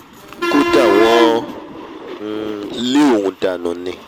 kódà wọ́n um lé òun dànù ni